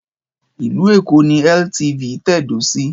Ìlú Èkó ni LTV tẹ̀dó sí.